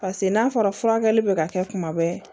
Paseke n'a fɔra furakɛli bɛ ka kɛ kuma bɛɛ